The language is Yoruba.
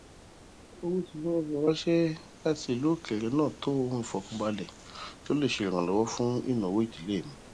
owó tí wọn fi ranṣẹ lati ilu okere naa to ohun ifọkanbalẹ to le jẹ iranlọwọ fun inawo idile mi